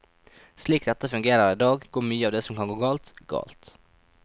Slik dette fungerer i dag, går mye av det som kan gå galt, galt.